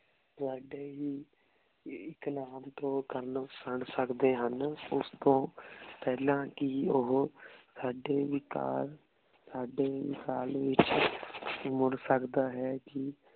ਤੁਵਾਡੀ ਹੀ ਇਕ ਨਾਮ ਤੋਂ ਕਰਨ ਸੁਨ ਸਕਦੇ ਹਨ ਓਸ ਤੋਂ ਪੇਹ੍ਲਾਂ ਕੀ ਓਹੋ ਸਾਡੇ ਵੀਕਲ ਸਾਡੇ ਵਿਸਲ ਵਿਚ ਮੁਰ ਅਕੜਾ ਹੈ ਕੀ